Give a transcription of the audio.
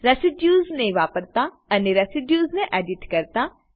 residues ને વાપરતા અને રેસિડ્યુઝ ને એડિટ કરતા